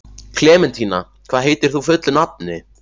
Klementína, hvað heitir þú fullu nafni?